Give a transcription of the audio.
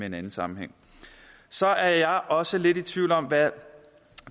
en anden sammenhæng så er jeg også lidt i tvivl om hvad